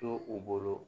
To u bolo